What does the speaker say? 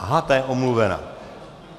Aha ta je omluvena.